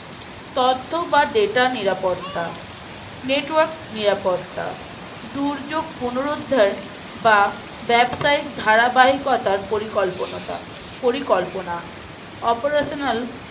তথ্য বা data নিরাপত্তা Network নিরাপত্তা দুর্যোগ পুনরুদ্ধার বা ব্যবসায়িক ধারাবাহিকতার পরিকল্পনাটা পরিকল্পনা Operational